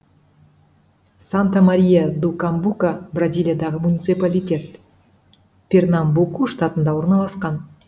санта мария ду камбука бразилиядағы муниципалитет пернамбуку штатында орналасқан